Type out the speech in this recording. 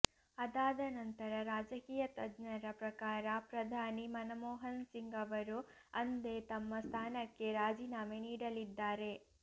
ಅದಾದ ನಂತರ ರಾಜಕೀಯ ತಜ್ಞರ ಪ್ರಕಾರ ಪ್ರಧಾನಿ ಮನಮೋಹನ್ ಸಿಂಗ್ ಅವರು ಅಂದೇ ತಮ್ಮ ಸ್ಥಾನಕ್ಕೆ ರಾಜೀನಾಮೆ ನೀಡಲಿದ್ದಾರೆ